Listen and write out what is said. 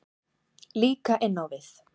Líka inn á við.